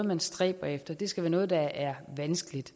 man stræber efter det skal være noget der er vanskeligt